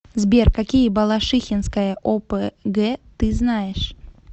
сбер какие балашихинская опг ты знаешь